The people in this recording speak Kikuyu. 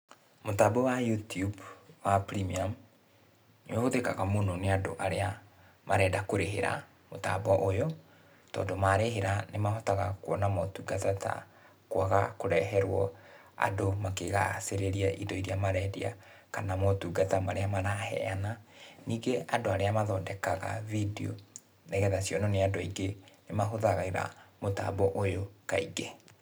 Mũtambo wa Youtube wa premium nĩũhũthĩkaga mũno nĩ andũ arĩa marenda kũrĩhĩra mũtambo ũyũ, tondũ marĩhĩra nĩmahotaga kuona motungata ta, kwaga kũreherũo andũ makĩgacĩrĩria indo iria marendia, kana motungata marĩa maraheana. Ningĩ andũ arĩa mathondekaga bindiũ, nĩgetha cionũo nĩ andũ aingĩ nĩmahũthagĩra mũtambo ũyũ kaingĩ.